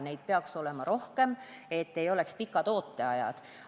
Neid peaks olema rohkem, et ei oleks pikki ooteaegu.